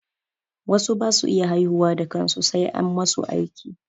Wasu ba su iya haihuwa da kansu sai an masu aiki.